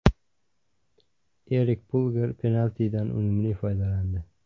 Erik Pulgar penaltidan unumli foydalandi.